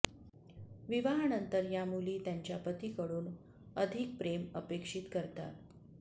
विवाहानंतर या मुली त्यांच्या पतीकडून अधिक प्रेम अपेक्षित करतात